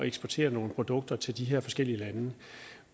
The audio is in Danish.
eksportere nogle produkter til de her forskellige lande